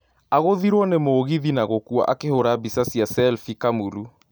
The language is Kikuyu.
Agũthiruo nĩ mũgithi na gũkua akihũra mbica cia selfie Kamulu